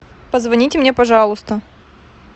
позвоните мне пожалуйста